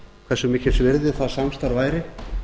hversu mikils virði það samstarf væri